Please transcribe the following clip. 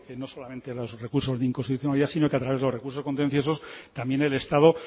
no solamente los recursos de inconstitucionalidad sino que a través de los recursos contenciosos también el estado